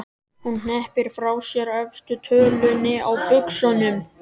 Hún hneppir frá sér efstu tölunni á buxunum.